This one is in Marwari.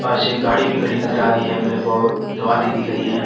पास एक गाड़ी भी खड़ी नजर आ रही है मेरे को जो आधी दिख रही है।